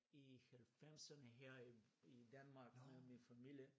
I 90erne her i i Danmark med min familie